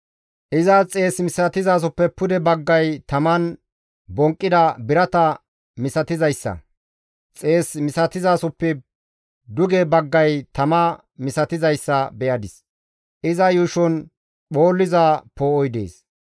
Izas xees misatizasoppe pude baggay taman bonqqida birata misatizayssa; xees misatizasoppe duge baggay tama misatizayssa be7adis; iza yuushon phoolliza poo7oy dees.